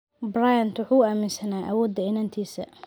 Bryant waxa uu aaminsanaa awooda inantiisa.